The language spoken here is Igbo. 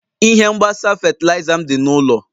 Ihe mgbasa fatịlaịza m dị n'ụlọ.